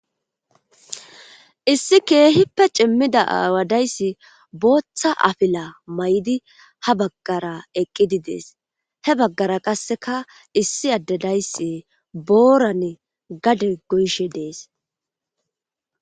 issi keehippe cimmida aawadayssi booththa afila may7di ha baggara eqqidi dees he baggara qasseka issi addedayssi boorane gade goyishe dees